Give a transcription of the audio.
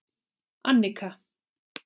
Annika